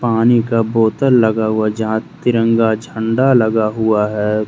पानी का बोतल लगा हुआ जहां तिरंगा झंडा लगा हुआ है।